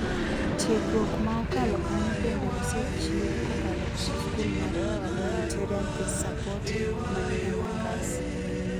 Tiegruok maokalo kanyo bende osechiew kokalo kuom skul mar Humanitarian Peace Support mani Embakasi.